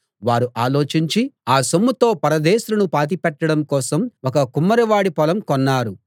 వారు ఆలోచించి ఆ సొమ్ముతో పరదేశులను పాతిపెట్టడం కోసం ఒక కుమ్మరి వాడి పొలం కున్నారు